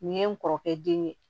Nin ye n kɔrɔkɛ den ye